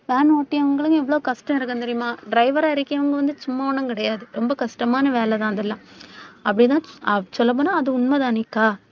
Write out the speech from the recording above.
van ஓட்டி அவங்களுக்கு இவ்வளவு கஷ்டம் இருக்கும் தெரியுமா? driver ஆ இருக்கிறவங்க வந்து சும்மா ஒண்ணும் கிடையாது. ரொம்ப கஷ்டமான வேலைதான் அதெல்லாம். அப்படிதான் சொல்லப் போனால் அது உண்மைதானக்கா.